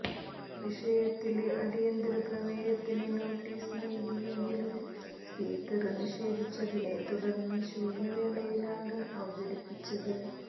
വിഷയത്തില് അടിയന്തര പ്രമേയത്തിന് നോട്ടീസ് നല്കിയെങ്കിലും സ്പീക്കര് നിഷേധിച്ചതിനെ തുടര്ന്ന് ശൂന്യവേളയിലാണ് അവതരിപ്പിച്ചത്